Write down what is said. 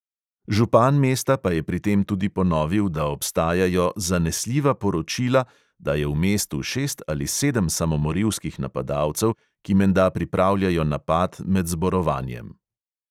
Župan mesta pa je pri tem tudi ponovil, da obstajajo "zanesljiva poročila", da je v mestu šest ali sedem samomorilskih napadalcev, ki menda pripravljajo napad med zborovanjem.